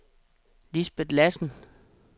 Lisbeth Lassen